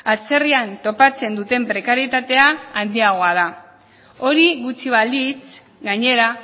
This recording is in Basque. atzerrian topatzen duten prekarietatea handiagoa da hori gutxi balitz gainera